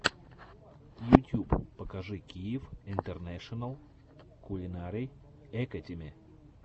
ютюб покажи киев интернэшенал кулинари экэдими